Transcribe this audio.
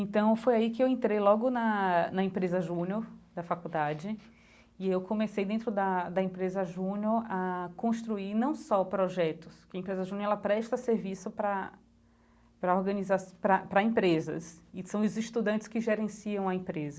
Então, foi aí que eu entrei logo na na empresa Júnior, da faculdade, e eu comecei dentro da da empresa Júnior a construir não só projetos, que a empresa Júnior ela presta serviço para para organizaço, para para empresas, e são os estudantes que gerenciam a empresa.